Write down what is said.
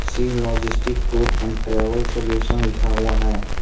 Shiv logistic tour and travel solution लिखा हुआ है।